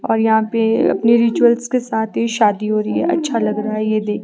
और यहां पे अपनी रिचुअल्स के साथ ही शादी हो रही है अच्छा लग रहा है ये देख--